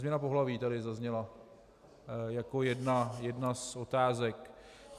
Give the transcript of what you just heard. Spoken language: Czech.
Změna pohlaví tady zazněla jako jedna z otázek...